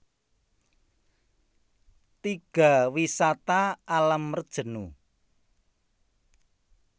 Tiga Wisata Alam Rejenu